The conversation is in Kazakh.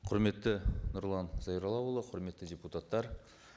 құрметті нұрлан зайроллаұлы құрметті депутаттар